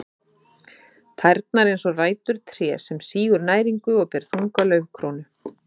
Tærnar eins og rætur trés sem sýgur næringu og ber þunga laufkrónu.